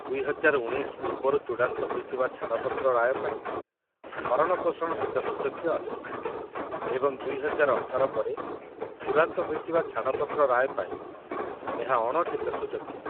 ୨୦୧୯ ପୂର୍ବରୁ ଚୂଡ଼ାନ୍ତ ହୋଇଥିବା ଛାଡ଼ପତ୍ର ରାୟ ପାଇଁ ଭରଣପୋଷଣ ଟିକସଯୋଗ୍ୟ ଅଟେ ଏବଂ ୨୦୧୮ ପରେ ଚୂଡ଼ାନ୍ତ ହୋଇଥିବା ଛାଡ଼ପତ୍ର ରାୟ ପାଇଁ, ଏହା ଅଣ-ଟିକସଯୋଗ୍ୟ।